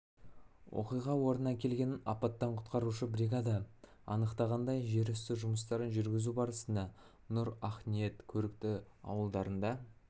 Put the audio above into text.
оқиға орнына келген апаттан құтқарушы бригада анықтағандай жер үсті жұмыстарын жүргізу барысында нұр ақниет көрікті ауылдарында